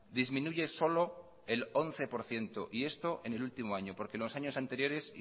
disminuye solo el once por ciento y esto en el último año porque en los años anteriores